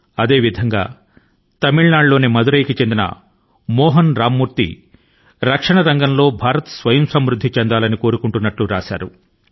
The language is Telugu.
ఇదే విధం గా భారతదేశం రక్షణ రంగం లో స్వయంసమృద్ధిని సాధించాలని కోరుకొంటున్నాను అంటూ మదురై కి చెందిన మోహన్ రామమూర్తి వ్రాశారు